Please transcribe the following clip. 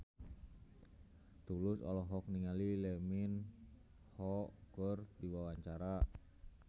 Tulus olohok ningali Lee Min Ho keur diwawancara